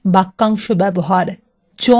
join ব্যবহার